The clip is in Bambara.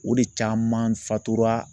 O de caman fatura